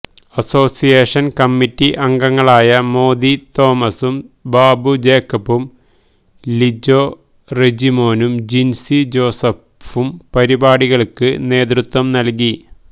association committee അംഗങ്ങളായ മോദി തോമസും ബാബു ജേക്കബും ലിജോ റെജിമോനും ജിൻസി ജോസഫും പരിപാടികൾക്ക് നേതൃത്വം നൽകി